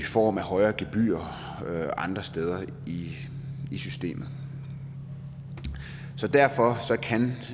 form af højere gebyrer andre steder i systemet derfor